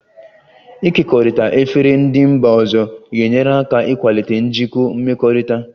Ịkekọrịta efere ndị mba ọzọ ga-enyere aka ịkwalite njikọ mmekọrịta